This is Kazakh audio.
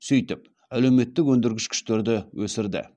сөйтіп әлеуметтік өндіргіш күштерді өсірді